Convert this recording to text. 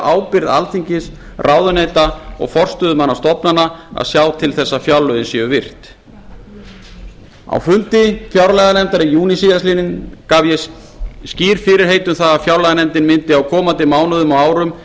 ábyrgð alþingis ráðuneyta og forstöðumanna stofnana að sjá til þess að fjárlögin séu virt á fundi fjárlaganefndar í júní síðastliðinn gaf ég skýr fyrirheit um það að fjárlaganefndin mundi á komandi mánuðum og árum